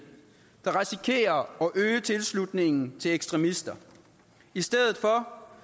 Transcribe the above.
og øge tilslutningen til ekstremister i stedet for